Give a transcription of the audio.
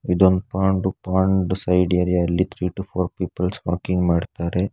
ಇದೊಂದು pond pond side ಏರಿಯಾದಲ್ಲಿ three to four peoples walking ಮಾಡುತ್ತಾರೆ.